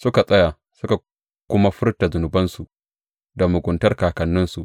Suka tsaya, suka kuma furta zunubansu da muguntar kakanninsu.